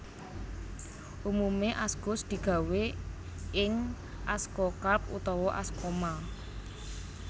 Umume askus digawé ing askokarp utawa askoma